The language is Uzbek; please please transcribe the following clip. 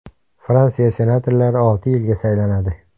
Fransiya senatorlari olti yilga saylanadi.